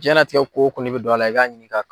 Jiyanlatigɛ ko o ko n'i bɛ don a la i ka ɲinin ka